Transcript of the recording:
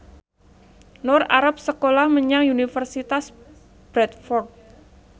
Nur arep sekolah menyang Universitas Bradford